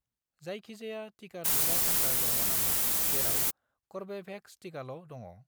जायखिजाया टिका थुग्रा सेन्टार दङ नामा जेराव कर्वेभेक्स टिकाल' दङ?